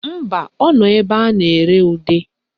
Mba, ọ nọ ebe a na-ere ude